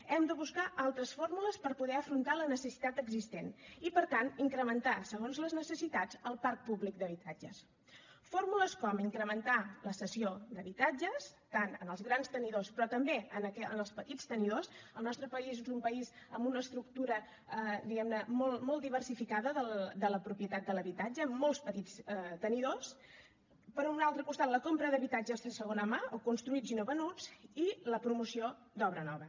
hem de buscar altres fórmules per poder afrontar la necessitat existent i per tant incrementar segons les necessitats el parc públic d’habitatges fórmules com incrementar la cessió d’habitatges tant en els grans tenidors però també en els petits tenidors el nostre país és un país amb una estructura diguem ne molt molt diversificada de la propietat de l’habitatge amb molts petits tenidors per un altre costat la compra d’habitatges de segona mà o construïts i no venuts i la promoció d’obra nova